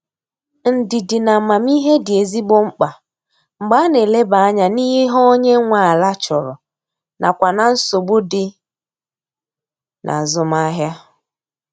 Ndidi na amamihe dị ezigbo mkpa mgbe a na eleba anya n'ihe onye nwe ala chọrọ nakwa na nsogbu dị n'azụmahia.